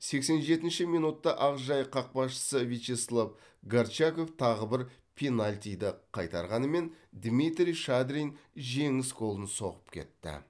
сексен жетінші минутта ақжайық қақпашысы вячеслав горчаков тағы бір пенальтиді қайтарғанымен дмитрий шадрин жеңіс голын соғып кетті